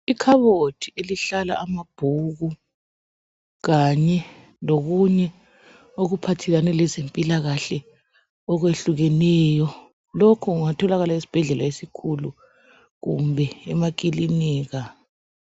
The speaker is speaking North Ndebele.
Ikhabothi elihlala amabhuku kanye lokunye okuphathelane lezempilakahle okwehlukeneyo. Lokhu kungatholakala esibhedlela esikhulu kumbe emakilinika.